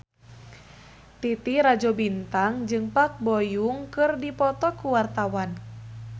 Titi Rajo Bintang jeung Park Bo Yung keur dipoto ku wartawan